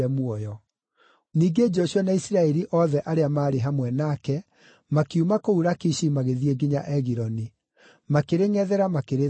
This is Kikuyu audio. Ningĩ Joshua na Isiraeli othe arĩa maarĩ hamwe nake makiuma kũu Lakishi magĩthiĩ nginya Egiloni; makĩrĩngʼethera makĩrĩtharĩkĩra.